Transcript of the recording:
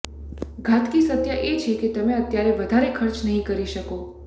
ઘાતકી સત્ય એ છે કે તમે અત્યારે વધારે ખર્ચ નહીં કરી શકો